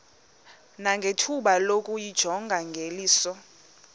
nangethuba lokuyijonga ngeliso